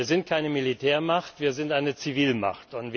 Wir sind keine Militärmacht, wir sind eine Zivilmacht.